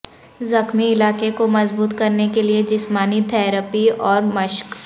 زخمی علاقے کو مضبوط کرنے کے لئے جسمانی تھراپی اور مشق